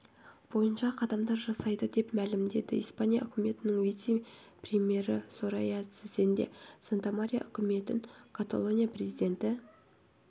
бойынша қадамдар жасайды деп мәлімдеді испания үкіметінің вице-премьері сорайя сэцен де сантамария үкімет каталония президенті